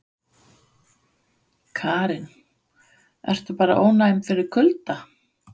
Karen: Ertu bara ónæm fyrir kulda?